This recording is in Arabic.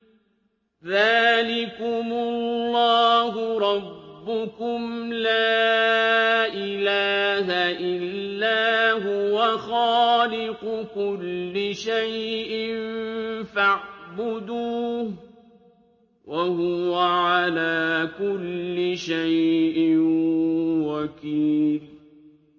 ذَٰلِكُمُ اللَّهُ رَبُّكُمْ ۖ لَا إِلَٰهَ إِلَّا هُوَ ۖ خَالِقُ كُلِّ شَيْءٍ فَاعْبُدُوهُ ۚ وَهُوَ عَلَىٰ كُلِّ شَيْءٍ وَكِيلٌ